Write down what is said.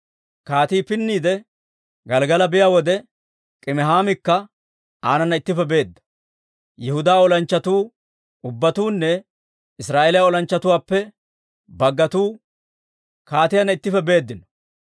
Kaatii pinniide Gelggala biyaa wode, Kimihaamikka aanana ittippe beedda. Yihudaa olanchchatuu ubbatuunne Israa'eeliyaa olanchchatuwaappe baggatuu kaatiyaanna ittippe beeddino.